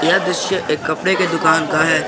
यह दृश्य एक कपड़े के दुकान का है।